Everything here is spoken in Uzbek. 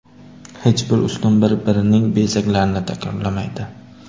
Hech bir ustun bir-birining bezaklarini takrorlamaydi.